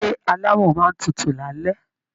Ilé alámọ̀ máa n tútù l'alẹ.